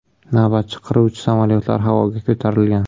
Navbatchi qiruvchi samolyotlar havoga ko‘tarilgan.